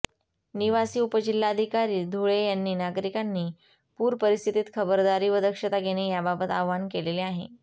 निवासी उपजिल्हाधिकारी धुळे यांनी नागरीकांनी पुर परिस्थीत खबरदारी व दक्षता घेणे बाबत आवाहन केलेले आहे